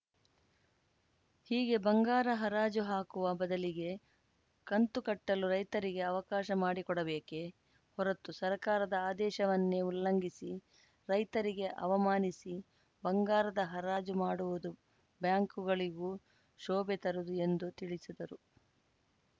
ಹೀಗೆ ಬಂಗಾರ ಹರಾಜು ಹಾಕುವ ಬದಲಿಗೆ ಕಂತು ಕಟ್ಟಲು ರೈತರಿಗೆ ಅವಕಾಶ ಮಾಡಿಕೊಡಬೇಕೇ ಹೊರತು ಸರ್ಕಾರದ ಆದೇಶವನ್ನೇ ಉಲ್ಲಂಘಿಸಿ ರೈತರಿಗೆ ಅವಮಾನಿಸಿ ಬಂಗಾರದ ಹರಾಜು ಮಾಡುವುದು ಬ್ಯಾಂಕುಗಳಿಗೂ ಶೋಭೆ ತರದು ಎಂದು ತಿಳಿಸಿದರು